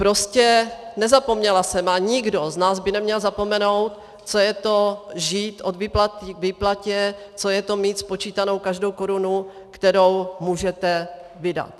Prostě nezapomněla jsem, a nikdo z nás by neměl zapomenout, co je to žít od výplaty k výplatě, co je to mít spočítanou každou korunu, kterou můžete vydat.